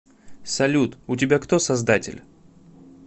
салют у тебя кто создатель